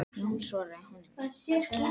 Jón svaraði honum ekki.